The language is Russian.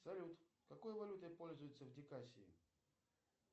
салют какой валютой пользуются в дикассии